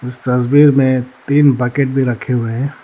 तस्वीर में तीन बकेट भी रखें हुए हैं।